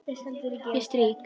Ég strýk.